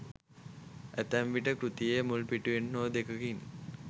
ඇතැම් විට කෘතියේ මුල් පිටුවෙන් හෝ දෙකකින්